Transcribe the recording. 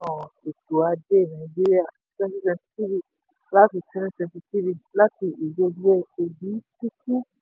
um ètò ajé nàìjíríà twenty twenty three láti twenty twenty three láti obi chukwu.